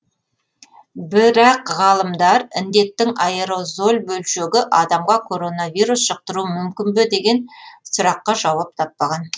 бірақ ғалымдар індеттің аэрозоль бөлшегі адамға коронавирус жұқтыруы мүмкін бе деген сұраққа жауап таппаған